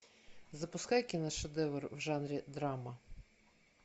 запускай киношедевр в жанре драма